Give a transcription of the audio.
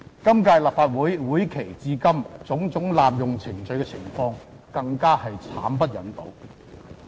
今屆立法會會期至今，種種濫用程序的情況更慘不忍睹。